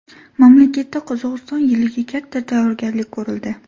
Mamlakatda Qozog‘iston yiliga katta tayyorgarlik ko‘rildi.